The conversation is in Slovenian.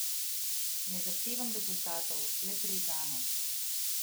Ne zahtevam rezultatov, le predanost.